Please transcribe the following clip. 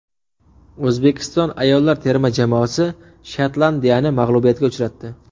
O‘zbekiston ayollar terma jamoasi Shotlandiyani mag‘lubiyatga uchratdi.